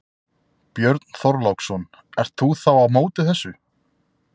Björn Þorláksson: Ert þú þá á móti þessu?